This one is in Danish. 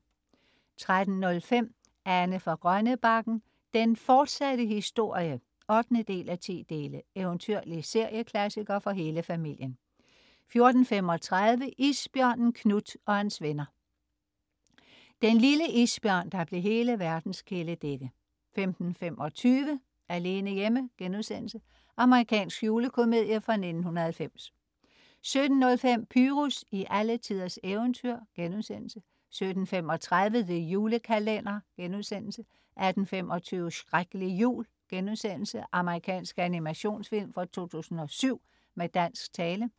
13.05 Anne fra Grønnebakken, den fortsatte historie 8:10. Eventyrlig serieklassiker for hele familien 14.35 Isbjørnen Knut og hans venner. Den lille isbjørn, der blev hele verdens kæledægge 15.25 Alene hjemme.* Amerikansk julekomedie fra 1990 17.05 Pyrus i alletiders eventyr* 17.35 The Julekalender* 18.25 Shreklig jul.* Amerikansk animationsfilm fra 2007 med dansk tale